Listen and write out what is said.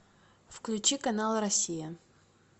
включи канал россия